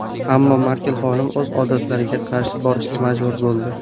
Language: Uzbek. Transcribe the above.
Ammo Merkel xonim o‘z odatlariga qarshi borishga majbur bo‘ldi.